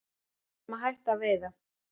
Við vorum að hætta að veiða